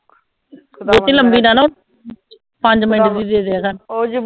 ਬਹੁਤੀ ਲੰਬੀ ਨਾ ਪੰਜ ਮਿੰਟ ਦੀ ਦੀਆ ਕਰ